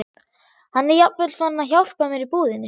Hann er jafnvel farinn að hjálpa mér í búðinni.